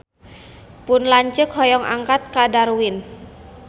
Pun lanceuk hoyong angkat ka Darwin